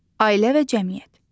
Ailə və cəmiyyət.